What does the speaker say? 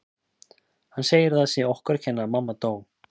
Hann segir að það sé okkur að kenna að mamma dó